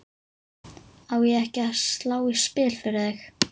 Á ég ekki að slá í spil fyrir þig?